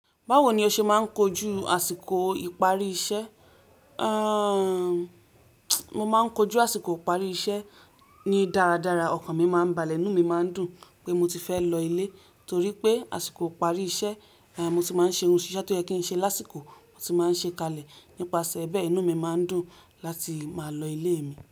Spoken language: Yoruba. Báwo ni o ṣe máa ń kojú àsìkò ìparí iṣẹ́? Aaa, mo máa ń kojú àsìkò ìparí iṣẹ́ ni dáradára. Ọkàn mi máa ń balẹ̀, inú mi máa ń dùn pé mo ti fẹ́ lọ ilé. Nítorí pé àsìkò ìparí iṣẹ́ ni mo ti máa ń ṣe ohun tó yẹ kí n ṣe lásìkò, mo ti máa ń ṣe kalẹ̀. Nípasẹ̀ bẹ́ẹ̀, inú mi máa ń dùn láti máa lọ ilé mi.